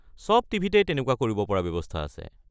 চব টি.ভি. -তেই তেনেকুৱা কৰিব পৰা ব্যৱস্থা আছে।